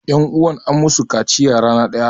Ƴanuwan an musu kaciya rana ɗaya.